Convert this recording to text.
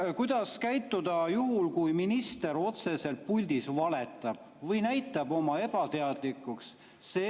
Kuidas käituda juhul, kui minister otseselt puldis valetab või näitab oma ebateadlikkust?